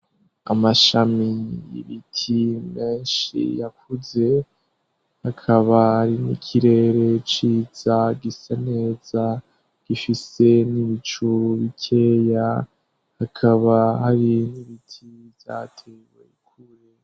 Amashami y'ibiti menshi yakuze hakaba ari n'ikirere ciza gisaneza gifise n'ibicuru bikeya hakaba hari n'ibiti byatebe kure.